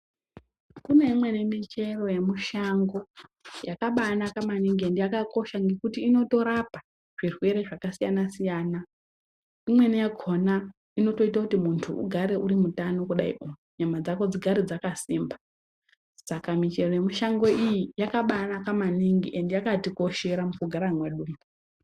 Kuneimweni michero yemushango yakabanaka maningi ende yakakosha ngekuti inotorapa zvirwere zvakasiyana-siyana. Imweni yakona inotoite kuti muntu ugare urimutano kudaio nyamadzako dzigare dzakasimba. Saka michero yemushango iyi yakabanaka maningi ende yakatikoshera mukugara mwedumwo.